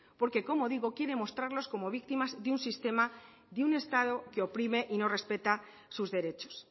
porque como digo quiere mostrarlos como víctimas de un sistema de un estado que oprime y no respeta sus derechos